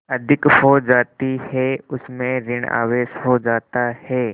अधिक हो जाती है उसमें ॠण आवेश हो जाता है